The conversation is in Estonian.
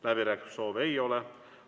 Läbirääkimissoove ei ole.